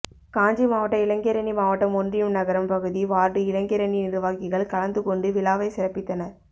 காஞ்சி மாவட்ட இளைஞரணி மாவட்டம் ஒன்றியம் நகரம் பகுதி வார்டு இளைஞரணி நிர்வாகிகள் கலந்துகொண்டு விழாவை சிறப்பித்தனர்